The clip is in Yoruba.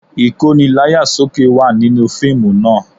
Ìkóni láyà sókè wà nínú fíìmù náà